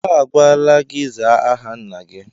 A gwala gị zaa aha nna gị!